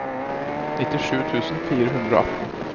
nittisju tusen fire hundre og atten